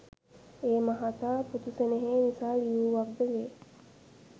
ඒ මහතා පුතු සෙනෙහේ නිසා ලියූවක්ද වේ